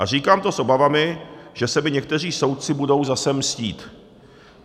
A říkám to s obavami, že se mi někteří soudci budou zase mstít.